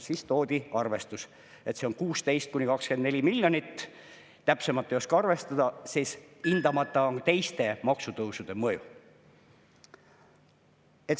Siis toodi arvestus, et see on 16–24 miljonit, täpsemalt ei oska arvestada, sest hindamata on teiste maksutõusude mõju.